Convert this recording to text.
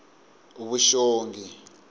vuxongi